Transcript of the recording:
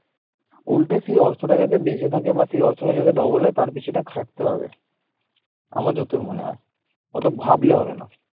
উল্টে সেই অর্থটা যাতে বেঁচে থাকে বা সে অর্থটা যাতে double হয় তার পেছনে খাটতে হবে। আমার যতদূর মনে হয়। অত ভাবলে হবে না